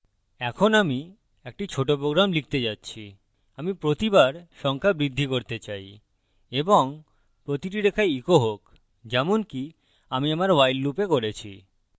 এখন আমি একটি ছোট program লিখতে যাচ্ছিআমি প্রতিবার সংখ্যা বৃদ্ধি করতে চাই এবং প্রতিটি রেখায় echo হোক যেমনকি আমি আমার while loop করেছি